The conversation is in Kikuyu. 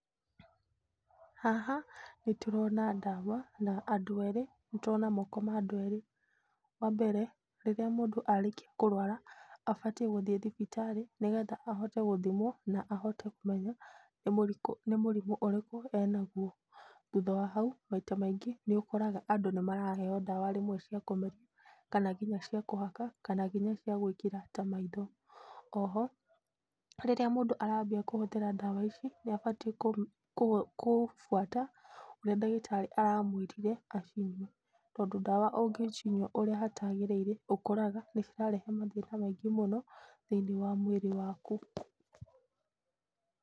Haha nĩ tũrona ndawa, na andũ erĩ, nĩ tũrona moko ma andũ erĩ. Wa mbere, rĩrĩa mũndũ arĩkia kũrwara abatie gũthiĩ thibitarĩ nĩ getha ahote gũthimwo na ahote kũmenya nĩ mũrimũ ũrĩkũ e naguo. Thutha wa hau maita maingĩ nĩ ũkoraga andũ nĩ maraheo ndawa rĩmwe cia kũmeria kana nginya cia kũhaka, kana nginya cia gũĩkĩra ta maitho.O ho, rĩrĩa mũndũ arambia kũhũthĩra ndawa ici nĩ abatie kũbuata ũrĩa ndagĩtarĩ aramwĩrire acinyue tondũ ndawa ũngĩcinyua ũrĩa hatagĩrĩire ũkoraga bareha mathĩna maingĩ mũno thĩinĩ wa mwĩrĩ waku.